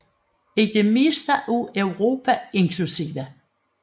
I det meste af Europa inkl